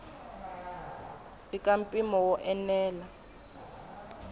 i ka mpimo wo enela